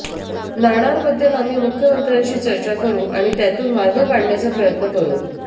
नाणारबद्दल आम्ही मुख्यमंत्र्यांशी चर्चा करू आणि त्यातून मार्ग काढण्याचा प्रयत्न करू